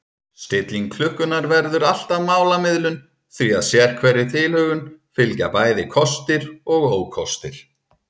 Stilling klukkunnar verður alltaf málamiðlun því að sérhverri tilhögun fylgja bæði kostir og ókostir.